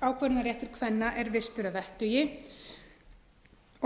þar sem sjálfsákvörðunarréttur kvenna er virtur að vettugi